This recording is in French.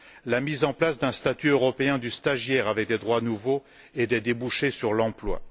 la mise en place d'un statut européen du stagiaire avec des droits nouveaux et des débouchés sur l'emploi